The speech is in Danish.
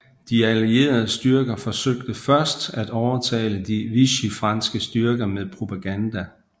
De Allierede styrker forsøgte først at overtale de Vichyfranske styrker med propaganda